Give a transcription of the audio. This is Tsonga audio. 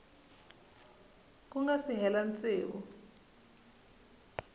ku nga si hela tsevu